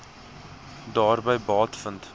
daarby baat vind